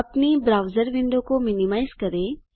अपनी browser window को minimise करें